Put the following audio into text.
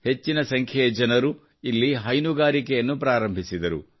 ಹೆಚ್ಚಿನ ಸಂಖ್ಯೆಯ ಜನರು ಇಲ್ಲಿ ಹೈನುಗಾರಿಕೆಯನ್ನು ಪ್ರಾರಂಭಿಸಿದರು